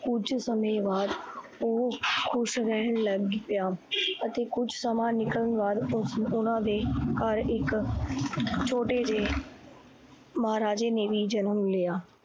ਕੁਝ ਸਮੇ ਬਾਦ ਓਹ ਖੁਸ਼ ਰਹਣ ਲੱਗ ਪਿਆ ਅਤੇ ਕੁਝ ਸਮਾਂ ਨਿਕਲਣ ਬਾਦ ਉਨਾਂ ਦੇ ਘਰ ਇੱਕ ਛੋਟੇ ਜੇ ਮਹਾਰਾਜੇ ਨੇ ਵੀ ਜਨਮ ਲਿਆ ।